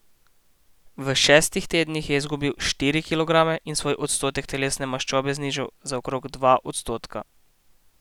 V šestih tednih je izgubil štiri kilograme in svoj odstotek telesne maščobe znižal za okrog dva odstotka.